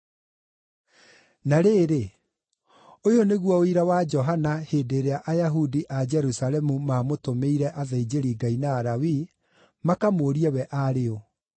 Na rĩrĩ, ũyũ nĩguo ũira wa Johana hĩndĩ ĩrĩa Ayahudi a Jerusalemu maamũtũmĩire athĩnjĩri-Ngai na Alawii makamũũrie we aarĩ ũ.